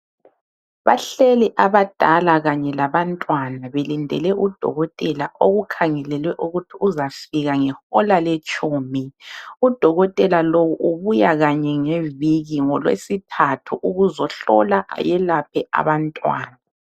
Bahleli abadala kanye labantwana belindele udokotela okukhangelelwe ukuthi uzafika ngehola letshumi, udokotela lowu ubuya kanye ngeviki ngolweSithathu ukuzohlola ayelaphe abantwana.